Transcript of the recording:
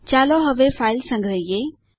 ચાલો હવે ફાઈલ સંગ્રહીયે